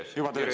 Juba töös, jah?